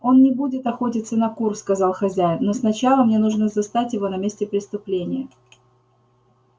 он не будет охотиться на кур сказал хозяин но сначала мне нужно застать его на месте преступления